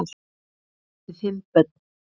Þau áttu þá fimm börn.